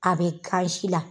A be ka si la